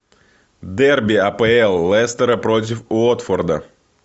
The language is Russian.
дерби апл лестера против уотфорда